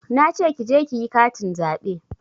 Nace ki je kiyi katin zaɓe